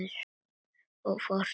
Og þú fórst að brosa.